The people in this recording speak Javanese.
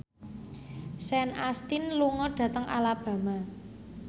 Sean Astin lunga dhateng Alabama